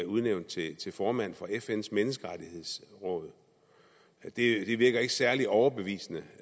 udnævnt til til formand for fns menneskerettighedsråd det virker ikke særlig overbevisende